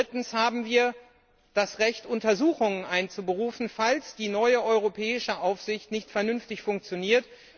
Drittens haben wir das Recht, Untersuchungen einzuberufen, falls die neue Europäische Aufsicht nicht vernünftig funktioniert.